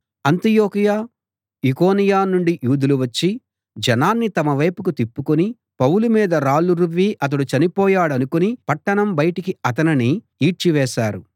అంతియొకయ ఈకొనియ నుండి యూదులు వచ్చి జనాన్ని తమ వైపు తిప్పుకుని పౌలు మీద రాళ్ళు రువ్వి అతడు చనిపోయాడనుకుని పట్టణం బయటికి అతనిని ఈడ్చివేశారు